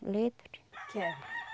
Letra? Quero.